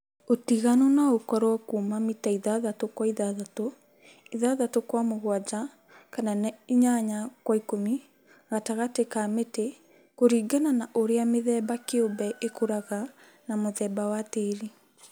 Ũtiganu no ũkorwo kuuma mita ithathatũ kwa ithathatũ , ithathatũ kwa mũgwanja, kana inyanya kwa ikũmi gatagatĩ ka mĩtĩ kũrĩnga na ũrĩa mithemba kĩũmbe ĩkũraga na muthemba wa tĩĩri